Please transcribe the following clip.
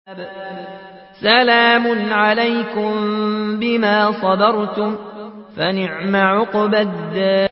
سَلَامٌ عَلَيْكُم بِمَا صَبَرْتُمْ ۚ فَنِعْمَ عُقْبَى الدَّارِ